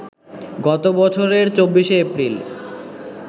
গত বছরের ২৪শে এপ্রিল